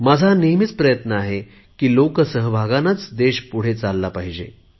माझा हा नेहमी प्रयत्न आहे की लोकसहभागानेच देश पुढे चालला पाहिजे